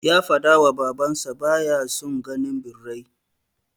Ya fadawa baban sa baya son ganin birrai